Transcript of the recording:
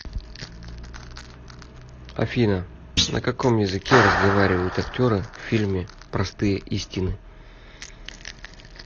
афина на каком языке разговаривают актеры в фильме простые истины